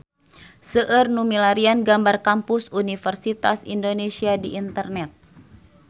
Seueur nu milarian gambar Kampus Universitas Indonesia di internet